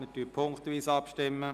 Wir stimmen punktweise ab.